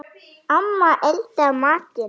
Amma eldar matinn.